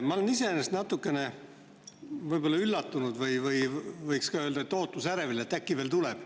Ma olen iseenesest natukene üllatunud, võiks isegi öelda, ootusärevil, et äkki see veel tuleb.